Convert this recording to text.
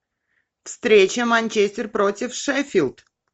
встреча манчестер против шеффилд